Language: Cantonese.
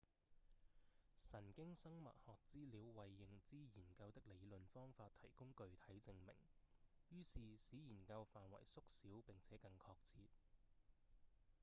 神經生物學資料為認知研究的理論方法提供具體證明於是使研究範圍縮小並且更確切